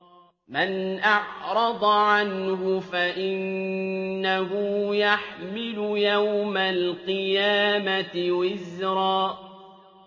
مَّنْ أَعْرَضَ عَنْهُ فَإِنَّهُ يَحْمِلُ يَوْمَ الْقِيَامَةِ وِزْرًا